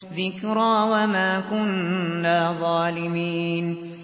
ذِكْرَىٰ وَمَا كُنَّا ظَالِمِينَ